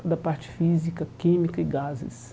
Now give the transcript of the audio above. Toda parte física, química e gases.